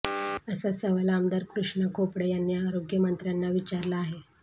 असा सवाल आमदार कृष्णा खोपडे यांनी आरोग्य मंत्र्यांना विचारला आहे